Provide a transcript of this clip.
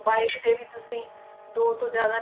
Bike ਤੇ ਵੀ ਤੁਸੀਂ ਦੋ ਤੋਂ ਜ਼ਿਆਦਾ